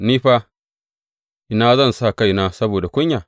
Ni fa, ina zan sa kaina saboda kunya?